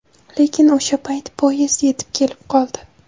Lekin o‘sha payt poyezd yetib kelib qoldi.